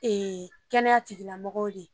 Ee kɛnɛya tigilamɔgɔw de